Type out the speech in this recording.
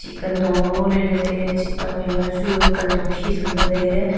e kantong ma ngo ley ley tailey chih tuakphai ma chu kantong khi sum pe tailey.